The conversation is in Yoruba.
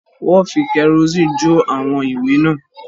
Wọ́n fi kẹ́rọ́ìsì jó àwọn ìwé náà